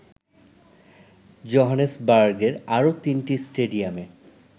জোহানেসবার্গের আরো তিনটি স্টেডিয়ামে